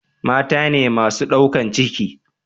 mata ne masu daukan ciki